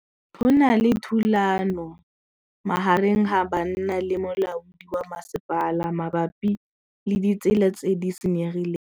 Go na le thulanô magareng ga banna le molaodi wa masepala mabapi le ditsela tse di senyegileng.